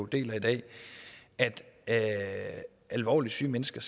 deler i dag at alvorligt syge mennesker